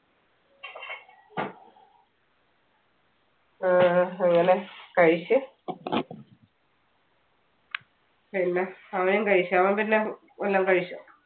ആ അങ്ങനെ കഴിച്ച്. പിന്നെ അവനും കഴിച്ചോ? അവൻ പിന്നെ വല്ലോം കഴിച്ചോ?